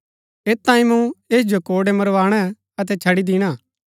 ऐत तांई मूँ ऐस जो कोड़ै मरवाणै अतै छड़ी दिणा